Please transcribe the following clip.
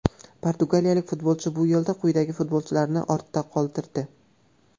Portugaliyalik futbolchi bu yo‘lda quyidagi futbolchilarni ortda qoldirdi :!